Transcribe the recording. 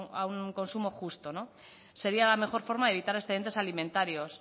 a un consumo justo sería la mejor forma de evitar excedentes alimentarios